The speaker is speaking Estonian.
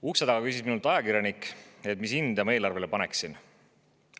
Ukse taga küsis minult ajakirjanik, mis hinde ma eelarvele paneksin.